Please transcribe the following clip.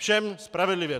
Všem spravedlivě.